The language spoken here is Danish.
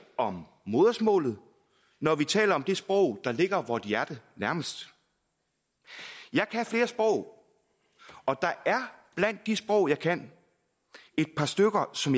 om modersmålet når vi taler om det sprog der ligger vort hjerte nærmest jeg kan flere sprog og der er blandt de sprog jeg kan et par stykker som